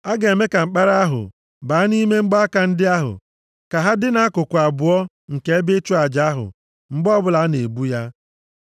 A ga-eme ka mkpara ahụ baa nʼime mgbaaka ndị ahụ, ka ha dị nʼakụkụ abụọ nke ebe ịchụ aja ahụ mgbe ọbụla a na-ebu ya.